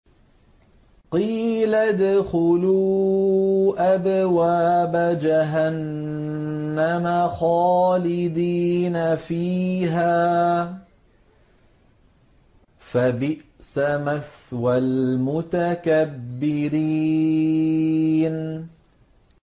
قِيلَ ادْخُلُوا أَبْوَابَ جَهَنَّمَ خَالِدِينَ فِيهَا ۖ فَبِئْسَ مَثْوَى الْمُتَكَبِّرِينَ